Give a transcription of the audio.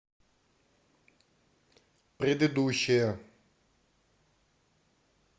предыдущая